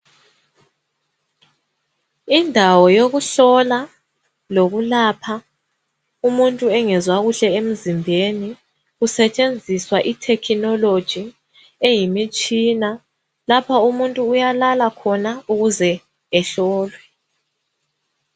Indawo yokuhlola lokulapha umuntu engezwa kuhle emzimbeni, kusetshenziswa I technology eyimitshina .Lapha umuntu uyalala khona ukuze ehlolwe.